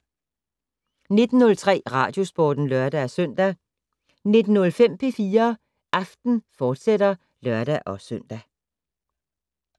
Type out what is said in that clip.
19:03: Radiosporten (lør-søn) 19:05: P4 Aften, fortsat (lør-søn)